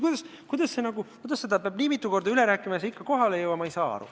Miks seda peab nii mitu korda üle rääkima, ja see ikka kohale ei jõua – ma ei saa aru.